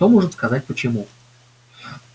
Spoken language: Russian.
кто может сказать почему